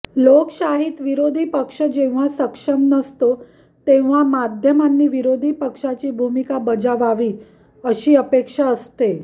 लोकशाहीत विरोधी पक्ष जेव्हा सक्षम नसतो तेव्हा माध्यमांनी विरोधी पक्षाची भूमिका बजावावी अशी अपेक्षा असते